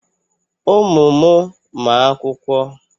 Ụmụ m ma akwụkwọ.